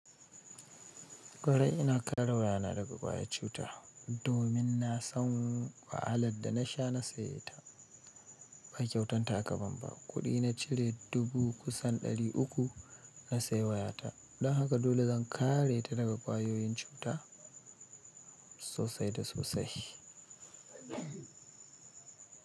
Kwarai ina ƙare waya na daga ƙwayar cuta, domin na san wahalar da na sha na saye ta, ba kyautan ta aka ban ba. Kuɗi na cire dubu kusan ɗari uku na saye wayata. Don haka dole zan kare ta daga ƙwayoyin cuta sosai da sosai.